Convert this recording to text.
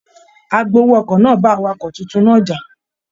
Agbowó ọkọ̀ náà bá awakọ tuntun náà já.